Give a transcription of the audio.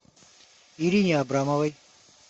ирине абрамовой